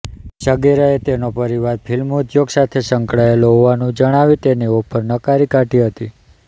સગીરાએ તેનો પરિવાર ફિલ્મ ઉદ્યોગ સાથે સંકળાયેલો હોવાનું જણાવી તેની ઑફર નકારી કાઢી હતી